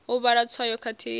u vhala tswayo khathihi na